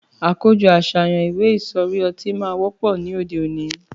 Àkójõ àsáyan atí ìwé ìsõrí õtí má wõpõ ní òdé óní